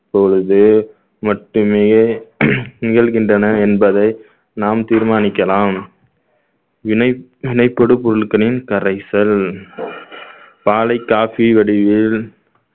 பொழுது மட்டுமே நிகழ்கின்றன என்பதை நாம் தீர்மானிக்கலாம் வினை~ வினைப்படு பொருட்களின் கரைசல் பாலை coffee வடிவில்